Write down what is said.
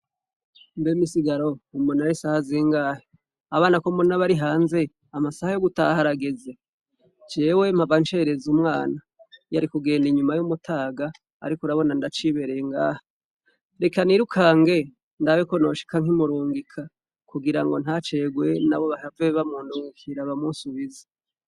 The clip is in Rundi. Mbeme isigaro umonara isaha zingahe abana ko mbonabari hanze amasaha yo gutaharageze jewe mpavancereza umwana yo ari kugenda inyuma y'umutaga, ariko urabona ndacibereye ngahe reka nirukange ndabeko noshika nkimurungika kugira ngo ntacerwe na bo bahave ba muntunvi kira abamusi ubizi.